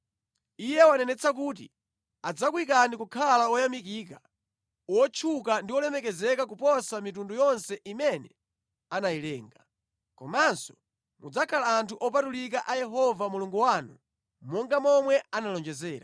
Iye wanenetsa kuti adzakuyikani kukhala oyamikika, otchuka ndi olemekezeka koposa mitundu yonse imene anayilenga. Komanso mudzakhala anthu opatulika a Yehova Mulungu wanu monga momwe analonjezera.